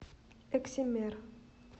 эксимер